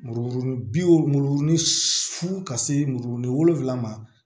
Muru bi wo muru su ka se muru ni wolonwula ma